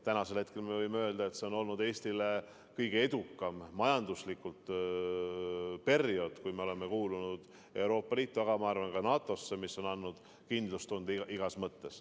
Tänasel hetkel me võime öelda, et see on olnud Eestile majanduslikult kõige edukam periood, kui me oleme kuulunud Euroopa Liitu, aga ma arvan, et ka NATO-sse, mis on andnud kindlustunde igas mõttes.